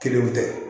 Kelenw tɛ